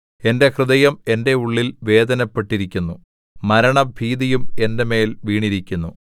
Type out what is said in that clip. എന്റെ ഹൃദയം എന്റെ ഉള്ളിൽ വേദനപ്പെട്ടിരിക്കുന്നു മരണഭീതിയും എന്റെ മേൽ വീണിരിക്കുന്നു